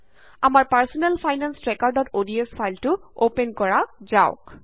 আমাৰ personal finance ট্ৰেকাৰods ফাইলটো অপেন কৰা যাওক